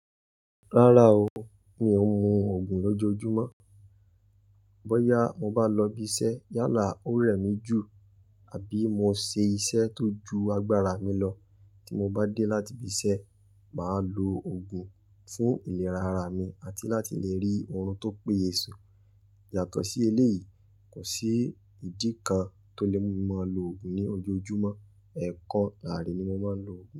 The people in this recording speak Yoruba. Rárá o, mi ò ń mu Ògùn lójoojúmọ́. Bóyá mo bá lọ ibi iṣẹ́ yálà ó rẹ̀ mí jù, àbí mo ṣe iṣẹ́ tó ju agbára mi lọ, tí mo bá dé láti ibi iṣẹ́, màá lo ògùn fún ìlera ara mi àti láti lè rí oorun tó péye sun. Yàtọ̀ sí eléyìí, kò sí ìdí kan tó lè mú mi máa lo ògùn ní ojoojúmọ́. Ẹ̀kan láàárin ni mo máa ń lo ògùn.